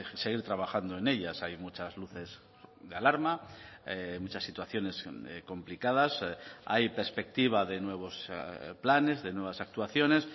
seguir trabajando en ellas hay muchas luces de alarma muchas situaciones complicadas hay perspectiva de nuevos planes de nuevas actuaciones